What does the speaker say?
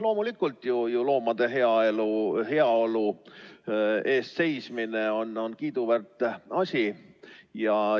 Loomulikult, loomade heaolu eest seismine on kiiduväärt asi.